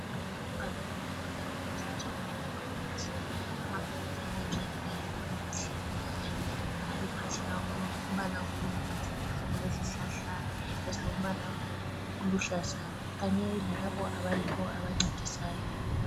Ibhakane le Butaro hospital Northern Province , amabhilidi ayakhekileyo amahle alophahla olombala obomvu ,olezihlahla ezilombala oluhlaza kanye lalabo abayibo abancedisayo